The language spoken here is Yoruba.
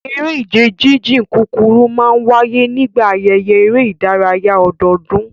Eré ìje jíjìn kúkúrú máa ń wáyé nígbà ayẹyẹ eré ìdárayá ọdọọdún